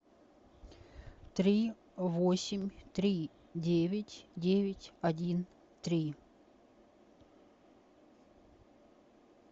три восемь три девять девять один три